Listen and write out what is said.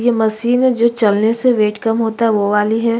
ये मशीन है जो चलने से वेट कम होता है वो वाली है।